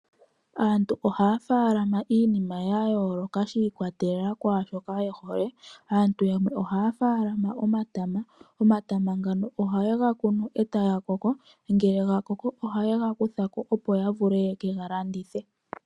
Aantu ohaya falama iinima ya yooloka shi kwatelela kwashoka yehole aantu yamwe ohaya falama omatama, omatama ngano ohaye ga kunu eta ga koko ngele gakoko ohaye ga kutha ko opo ya vule yeke ga landithe.